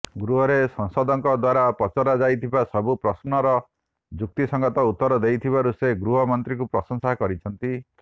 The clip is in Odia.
ଗୃହରେ ସାଂସଦଙ୍କ ଦ୍ୱାରାପଚରା ଯାଇଥିବା ସବୁପ୍ରଶ୍ନର ଯୁକ୍ତିସଙ୍ଗତ ଉତ୍ତର ଦେଇଥିବାରୁ ସେ ଗୃହ ମନ୍ତ୍ରୀଙ୍କୁପ୍ରଂଶସା କରିଛନ୍ତି